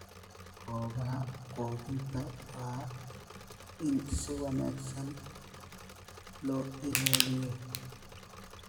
Goobaha quudinta waa in si wanaagsan loo ilaaliyo.